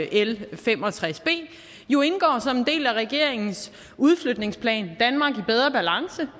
l fem og tres b jo indgår som en del af regeringens udflytningsplan bedre balance